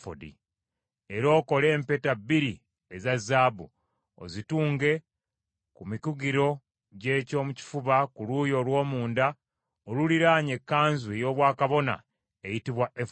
Era okole empeta bbiri eza zaabu, ozitunge ku mikugiro gy’eky’omu kifuba ku luuyi olw’omunda oluliraanye ekkanzu ey’obwakabona eyitibwa efodi.